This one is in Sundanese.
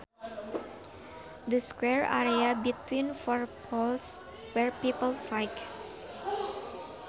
The square area between four poles where people fight